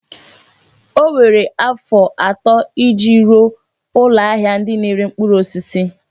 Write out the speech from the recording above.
O were afọ atọ iji rụọ ụlọ ahịa ndị na-ere mkpụrụ osisi.